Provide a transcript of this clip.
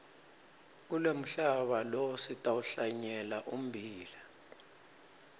kulomhlaba lo sitawuhlanyela ummbila